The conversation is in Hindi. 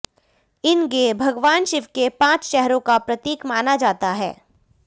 इन्गें भगवान शिव के पांच चेहरों का प्रतीक माना जाता है